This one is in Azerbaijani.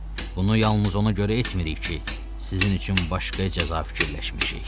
Bunu yalnız ona görə etmirik ki, sizin üçün başqa cəza fikirləşmişik.